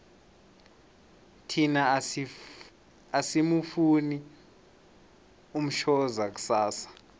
thina asimufuni umshoza kusasa